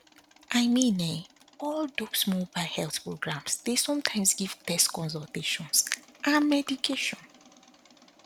i mean um all dox mobile health programs dey sometimes give tests consultations and medication